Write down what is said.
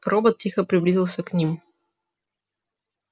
робот тихо приблизился к ним